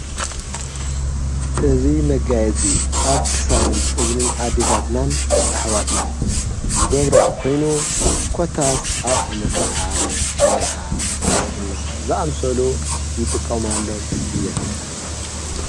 እዙይ መጋየፂ ኣብ ክሳድን እዝንን ኣዲታትናን ኣኅዋትናን ዝገብሮኦ ኮይኑ ኰታስ ኣብ ዓመት በዓል መርዓ ክርስትና ዝኣምሰሉ ይጥቀም ኣሎም እየን።